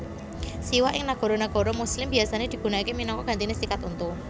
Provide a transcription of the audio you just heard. Siwak ing nagara nagara muslim biasané digunakaké minangka gantiné sikat untu